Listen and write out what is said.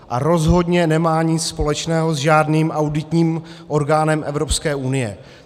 A rozhodně nemá nic společného s žádným auditním orgánem Evropské unie.